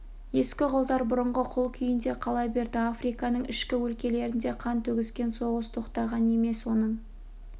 ескі құлдар бұрынғы құл күйінде қала берді африканың ішкі өлкелерінде қан төгіскен соғыс тоқтаған емес оның